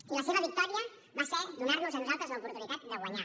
i la seva victòria va ser donar nos a nosaltres l’oportunitat de guanyar